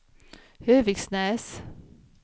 Höviksnäs